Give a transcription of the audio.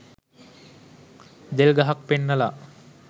දෙල් ගහක් පෙන්නලා